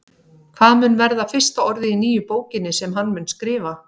Hvað mun verða fyrsta orðið í nýju bókinni sem hann mun skrifa?